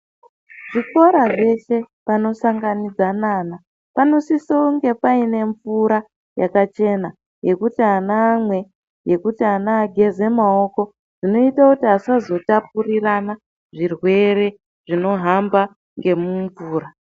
Zvikora dzese panosangana vana panosisa kunge paine mvura yakachena yekuti ana amwe yekuti ana ageze maoko zvinoita kuti asazotapurirwana zvirwere zvinohamba ngemumvura.